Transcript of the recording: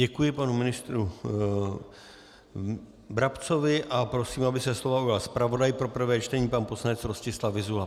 Děkuji panu ministru Brabcovi a prosím, aby se slova ujal zpravodaj pro prvé čtení pan poslanec Rostislav Vyzula.